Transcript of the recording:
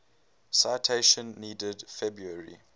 citation needed february